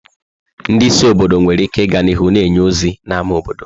Ndị isi obodo nwere ike ịga n'ihu na-enye ozi n'ámá obodo.